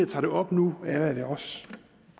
tager det op nu er at